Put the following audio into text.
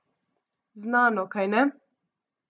Znano, kajne?